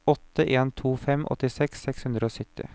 åtte en to fem åttiseks seks hundre og sytti